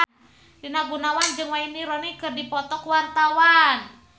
Rina Gunawan jeung Wayne Rooney keur dipoto ku wartawan